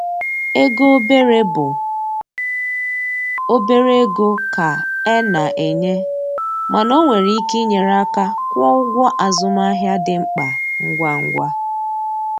Ego obere bụ obere ego ka e na-enye, mana o nwere ike inyere aka kwụọ ụgwọ azụmahịa dị mkpa ngwa ngwa.